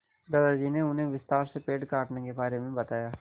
दादाजी ने उन्हें विस्तार से पेड़ काटने के बारे में बताया